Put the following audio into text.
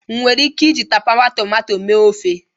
Enwere m ike iji tapawa tomato mee ofe?